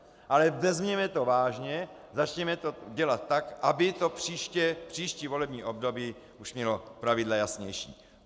Ale vezměme to vážně, začněme to dělat tak, aby to příští volební období už mělo pravidla jasnější.